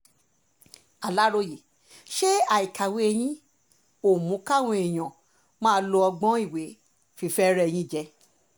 aláròye ṣé àìkàwé yẹn ò mú káwọn èèyàn máa lo ọgbọ́n ìwé fi fẹ́ẹ́ rẹ́ yín jẹ